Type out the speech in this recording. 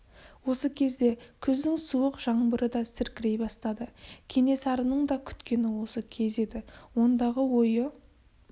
осы кезде күздің суық жаңбыры да сіркірей бастады кенесарының да күткені осы кез еді ондағы ойы